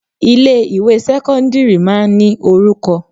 Ilé ìwé sẹ́kọ́ńdírì máa ń ní orúkọ.